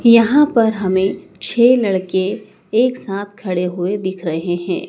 यहां पर हमें छै लड़के एक साथ खड़े हुए दिख रहे हैं।